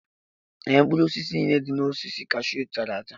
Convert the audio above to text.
Ee, mkpụrụ osisi niile dị na osisi cashew chara acha.